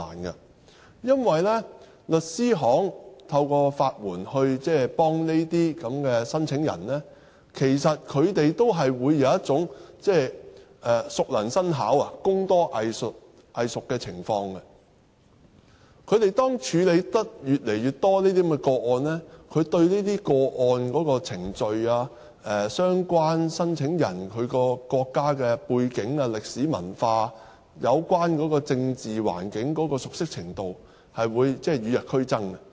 原因是，律師行透過法援幫助這些申請人，也會有熟能生巧、工多藝熟的情況。他們處理這些個案越多，對這些個案的程序、相關申請人的國家背景、歷史文化、有關政治環境的熟悉程度將會與日俱增。